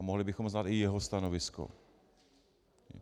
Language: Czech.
A mohli bychom znát i jeho stanovisko.